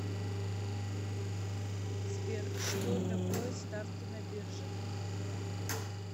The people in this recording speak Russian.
сбер что такое ставки на бирже